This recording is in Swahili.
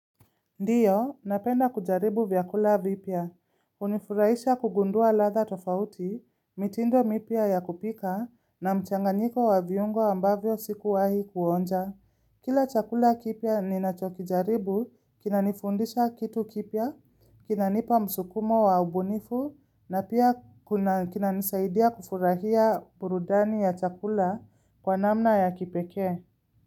Ndiyo, napenda kujaribu vyakula vipya. Hunifurahisha kugundua ladha tofauti, mitindo mipya ya kupika, na mchanganyiko wa viungo ambavyo sikuwahi kuonja. Kila chakula kipya ninachokijaribu, kinanifundisha kitu kipya, kinanipa msukumo wa ubunifu, na pia kinanisaidia kufurahia burudani ya chakula kwa namna ya kipekee.